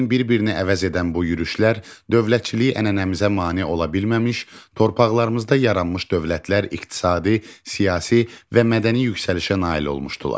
Lakin bir-birini əvəz edən bu yürüyüşlər dövlətçilik ənənəmizə mane ola bilməmiş, torpaqlarımızda yaranmış dövlətlər iqtisadi, siyasi və mədəni yüksəlişə nail olmuşdular.